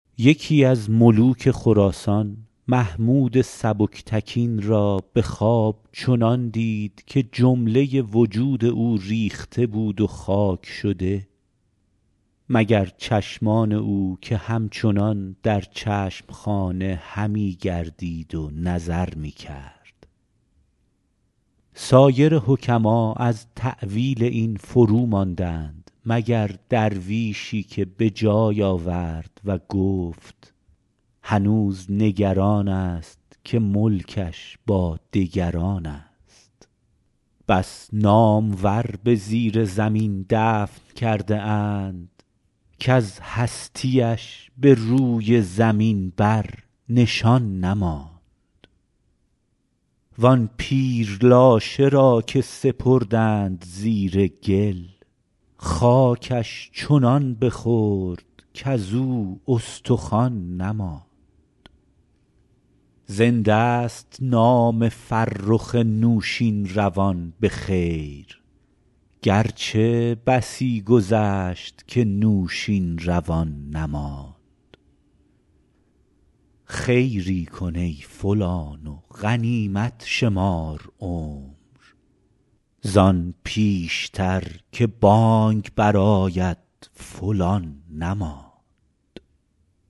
یکی از ملوک خراسان محمود سبکتگین را به خواب چنان دید که جمله وجود او ریخته بود و خاک شده مگر چشمان او که همچنان در چشم خانه همی گردید و نظر می کرد سایر حکما از تأویل این فروماندند مگر درویشی که به جای آورد و گفت هنوز نگران است که ملکش با دگران است بس نامور به زیر زمین دفن کرده اند کز هستی اش به روی زمین بر نشان نماند وآن پیر لاشه را که سپردند زیر گل خاکش چنان بخورد کزو استخوان نماند زنده ست نام فرخ نوشین روان به خیر گرچه بسی گذشت که نوشین روان نماند خیری کن ای فلان و غنیمت شمار عمر زآن پیشتر که بانگ بر آید فلان نماند